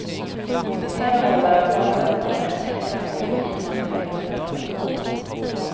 På flera håll har han framhållit den offentliga sektorns betydelse för ekonomins funktion.